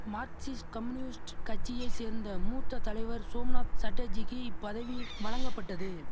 Marxist communist கட்சியை சேர்ந்த மூத்த தலைவர் சோம்நாத் சட்டர்ஜிக்கி இப்பதவி வழங்கப்பட்டது